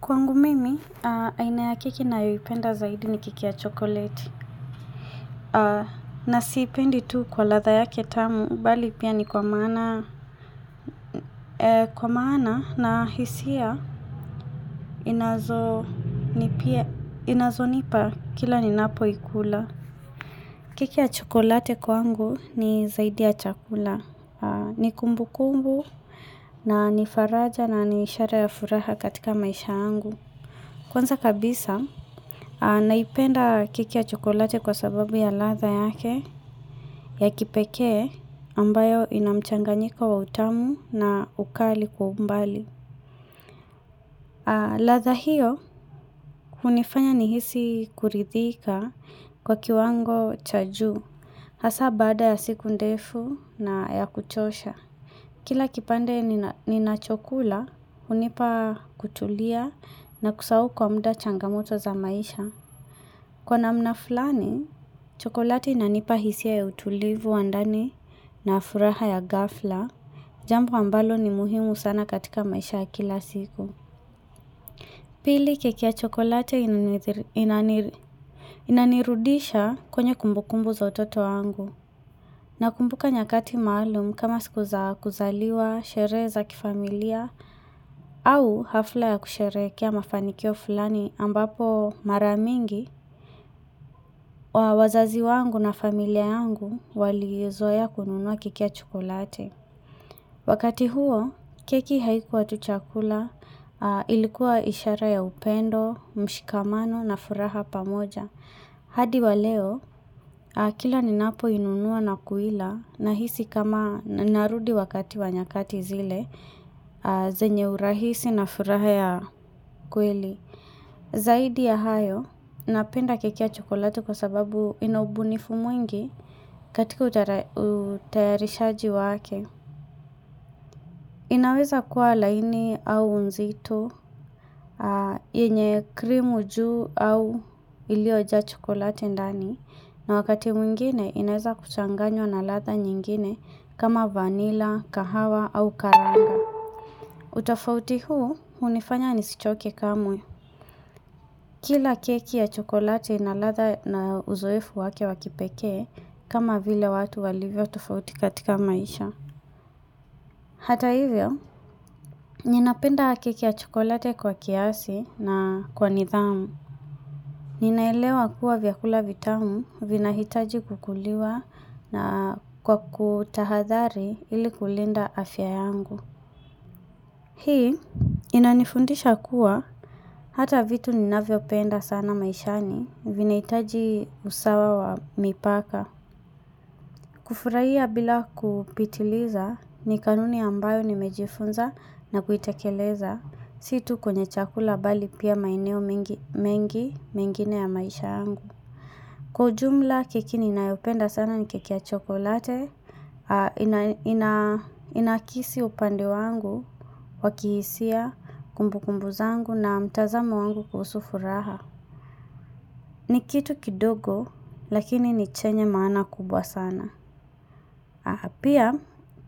Kwangu mimi, aina ya keki ninayoipenda zaidi ni keki ya chokoleti. Na siipendi tu kwa ladha yake tamu, bali pia ni kwa maana. Kwa maana na hisia, inazo nipia, inazo nipa kila ni napoikula. Keki ya chokoleti kwangu ni zaidi ya chakula. Ni kumbu kumbu, na nifaraja na ni ishara ya furaha katika maisha yangu. Kwanza kabisa, naipenda keki ya chokoleti kwa sababu ya ladha yake ya kipekee ambayo ina mchanganyiko wa utamu na ukali kwa umbali. Ladha hiyo, hunifanya nihisi kuridhika kwa kiwango cha juu Hasa baada ya siku ndefu na ya kuchosha. Kila kipande ninachokula, hunipa kutulia na kusahau kwa muda changamoto za maisha. Kwa namna fulani, chokoleti inanipa hisia ya utulivu wa ndani na furaha ya ghafla. Jambo ambalo ni muhimu sana katika maisha ya kila siku. Pili keki ya chokoleti inanirudisha kwenye kumbukumbu za utoto wangu. Nakumbuka nyakati maalum kama siku za kuzaliwa, sherehe za kifamilia, au hafla ya kusherehekea mafanikio fulani ambapo mara mingi wa wazazi wangu na familia yangu walizoea kununua keki ya chokoleti. Wakati huo, keki haikuwa tu chakula ilikuwa ishara ya upendo, mshikamano na furaha pamoja. Hadi wa leo, kila ninapoinunuwa na kuila nahisi kama narudi wakati wa nyakati zile, zenye urahisi na furaha ya kweli. Zaidi ya hayo, napenda keki ya chokoleti kwa sababu ina ubunifu mwingi katika utayarishaji wake. Inaweza kuwa laini au nzito, yenye krimu juu au iliyojaa chokoleti ndani na wakati mwingine inaweza kuchanganywa na ladha nyingine kama vanilla, kahawa au karanga utofauti huu hunifanya nisichoke kamwe Kila keki ya chokoleti ina ladha na uzoefu wake wa kipekee kama vile watu walivyo tufauti katika maisha Hata hivyo, ninapenda keki ya chokoleti kwa kiasi na kwa nidhamu. Ninaelewa kuwa vyakula vitamu vinahitaji kukuliwa na kwa kutahadhari ili kulinda afya yangu. Hii, inanifundisha kuwa hata vitu ninavyopenda sana maishani vinahitaji usawa wa mipaka. Kufurahia bila kupitiliza ni kanuni ambayo nimejifunza na kuitekeleza si tu kwenye chakula bali pia maeneo mengi mengine ya maisha yangu. Kwa ujumla keki ninayopenda sana ni keki ya chocolate inayo naakisi upande wangu wa kihisia kumbukumbu zangu na mtazamo wangu kuhusu furaha. Ni kitu kidogo lakini ni chenye maana kubwa sana. Na pia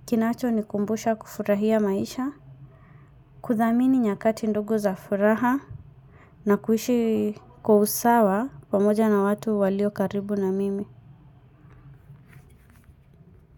kinachonikumbusha kufurahia maisha kuthamini nyakati ndogo za furaha na kuishi kwa usawa pamoja na watu walio karibu na mimi.